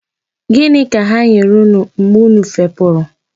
Gịnị ka ha nyere unu mgbe unu fepụrụ.